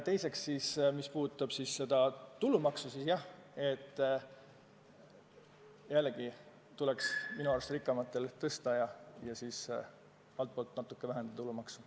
Mis aga puutub tulumaksu, siis seda tuleks minu arust rikkamatel tõsta ja altpoolt natuke vähemaks võtta.